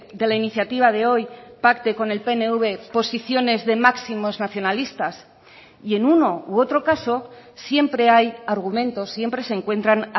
de la iniciativa de hoy pacte con el pnv posiciones de máximos nacionalistas y en uno u otro caso siempre hay argumentos siempre se encuentran